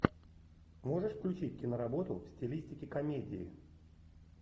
можешь включить киноработу в стилистике комедии